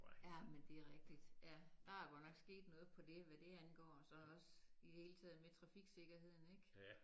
Ja men det er rigtig ja der er godt nok sket noget på dét hvad det angår og så også i det hele taget med trafiksikkerheden ikke